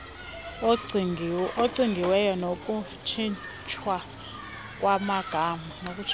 acingiweyo nokutshintshwa kwamagama